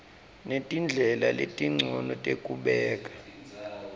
netindlela letincono tekubeka